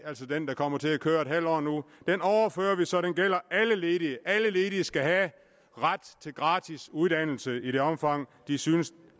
altså den der kommer til at køre et halvt år nu så den gælder alle ledige alle ledige skal have ret til gratis uddannelse i det omfang de synes